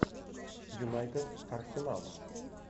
юнайтед арсенал